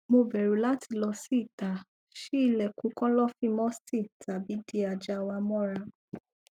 mo bẹru lati lọ si ita ṣii ilẹkun kọlọfin musty tabi di aja wa mọra